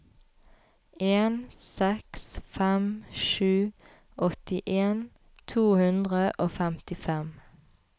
en seks fem sju åttien to hundre og femtifem